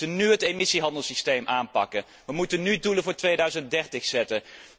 nú. Wij moeten nú het emissiehandelssysteem aanpakken, wij moeten nú doelen voor 2030 stellen.